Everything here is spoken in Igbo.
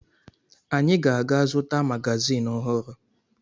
Anyị ga-aga zụta magazin ọhụrụ